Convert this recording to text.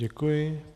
Děkuji.